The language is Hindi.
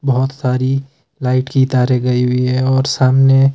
बोहोत सारी लाइट की तारे गई हुई है और सामने--